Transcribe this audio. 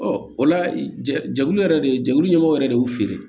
o la ja jɛkulu yɛrɛ de jɛkulu ɲɛmɔgɔ yɛrɛ de y'u feere